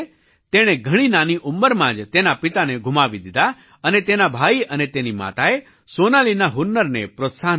તેણે ઘણી નાની ઉંમરમાં જ તેના પિતાને ગુમાવી દીધા અને તેના ભાઈ અને તેની માતાએ સોનાલીના હુનરને પ્રોત્સાહન આપ્યું